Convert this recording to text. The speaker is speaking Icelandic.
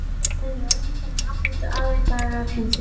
Hann er öðruvísi en allir aðrir dagar heimsins.